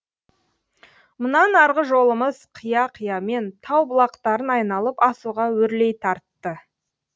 мұнан арғы жолымыз қия қиямен тау бұлақтарын айналып асуға өрлей тартты